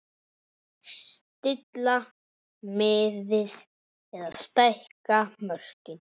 Stilla miðið eða stækka mörkin?